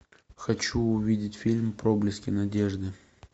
хочу увидеть фильм проблески надежды